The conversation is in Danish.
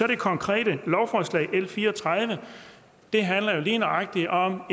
det konkrete lovforslag l 34 det handler jo lige nøjagtig om